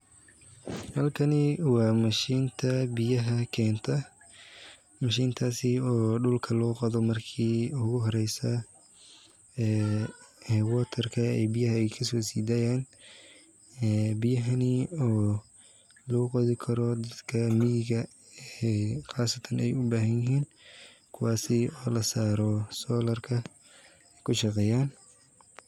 Halkani waa meesha biyaha keenta mishintaas oo dulka lagu qodo marka hore biyahan oo loo qodi karo dadka miiga marka aay ubahan yihiin.